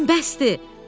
Elədiklərin bəsdir!